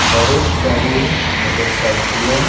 बहुत सारी मोटरसाइकिलें --